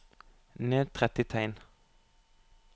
Ned tretti tegn